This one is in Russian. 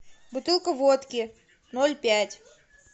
бутылка водки ноль пять